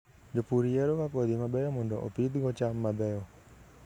Jopur yieroga kodhi mabeyo mondo opidhgo cham mabeyo.